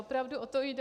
Opravdu o to jde.